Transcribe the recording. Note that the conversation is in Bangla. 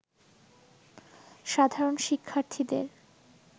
সাধারণ শিক্ষার্থীদের